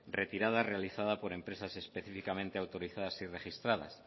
retirada realizada por empresas específicamente autorizadas y registradas